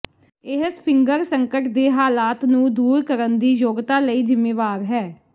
ਇਹ ਫਿੰਗਰ ਸੰਕਟ ਦੇ ਹਾਲਾਤ ਨੂੰ ਦੂਰ ਕਰਨ ਦੀ ਯੋਗਤਾ ਲਈ ਜ਼ਿੰਮੇਵਾਰ ਹੈ